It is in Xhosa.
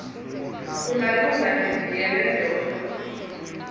kungalunga ndiziyele ndodwa